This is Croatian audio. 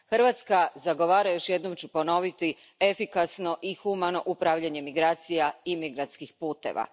Hrvatska zagovara, još jednom ću ponoviti, efikasno i humano upravljanje migracija i migrantskih puteva.